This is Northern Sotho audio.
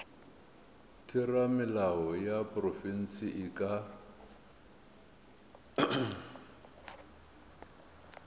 theramelao ya profense e ka